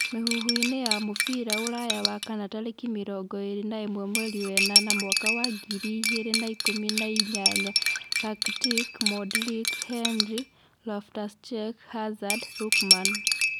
Mihuhuini ya mũbira Uraya Wakana tarĩkĩ mĩrongo ĩrĩ na ĩmwe mweri wa enana mwaka wa ngiri igĩrĩ na ikũmi na inyanya :Rakitic, Modric, Henry, Loftus-Cheek, Harzard, Lookman